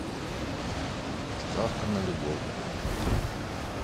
ставка на любовь